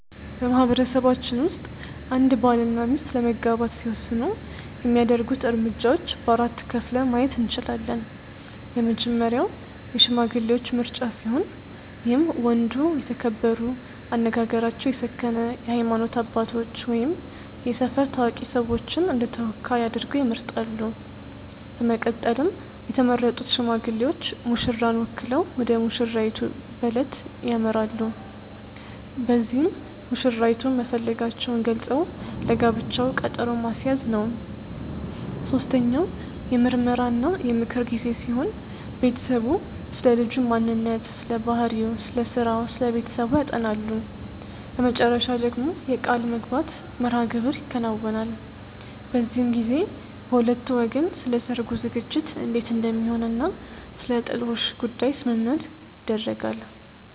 በማህበረሰባችን ውስጥ አንድ ባል እና ሚስት ለመጋባት ሲወስኑ የሚያደርጉት እርምጃዎች በ4 ከፍለን ማየት እንችላለን። የመጀመሪያው የሽማግሌዎች ምርጫ ሲሆን ይህም ወንዱ የተከበሩ፣ አነጋገራቸው የሰከነ የሃይማኖት አባቶች ወይም የሰፈር ታዋቂ ሰዎችን እንደተወካይ አድርገው ይመርጣሉ። በመቀጠልም የተመረጡት ሽማግሌዎች ሙሽራን ወክለው ወደሙሽራይቱ በለት ያመራሉ። በዚህም መሽራይቱን መፈለጋቸውን ገልፀው ለጋብቻው ቀጠሮ ማስያዝ ነው። ሶስተኛው የምርመራ እና የምክር ጊዜ ሲሆን ቤተሰቡ ስለልጁ ማንነት ስለባህሪው፣ ስለስራው እና ስለቤተሰቡ ያጠናሉ። በመጨረሻ ደግሞ የቃልምግባት መርሐግብር ይከናወናል። በዚህም ጊዜ በሁለቱ ወገን ስለሰርጉ ዝግጅት እንዴት እንደሚሆን እና ስለጥሎሽ ጉዳይ ስምምነት ይደረጋል።